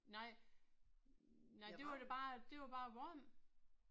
Nej nej det var da bare det var bare varm